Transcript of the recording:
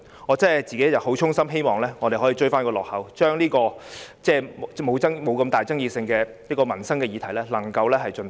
我衷心希望我們可以追回落後的產假，盡快通過爭議沒那麼大的民生議題。